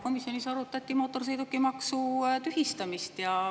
Komisjonis arutati mootorsõidukimaksu tühistamist.